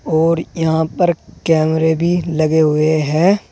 और यहां पर कैमरे भी लगे हुएं हैं।